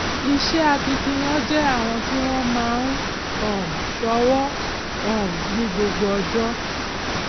iṣẹ akitiyan jẹ àwọn tí wọn máa ń um ṣọwọ um ní gbogbo ọjọ